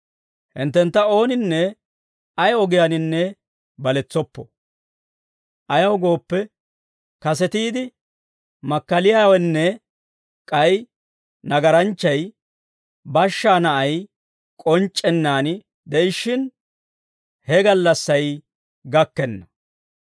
Hinttentta ooninne ay ogiyaaninne baletsoppo. Ayaw gooppe, kasetiide makkaliyaawenne k'ay nagaranchchay, bashshaa na'ay k'onc'c'ennaan de'ishshin, he gallassay gakkenna.